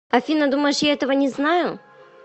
афина думаешь я этого не знаю